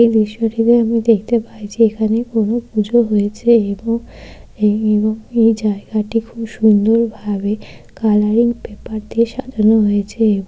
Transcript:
এই দৃশ্যটিতে আমরা দেখতে পাই যে এখানে কোন পুজো হয়েছে এবং এই জায়গাটি খুব সুন্দরভাবে কালারিং পেপার দিয়ে সাজানো হয়েছে।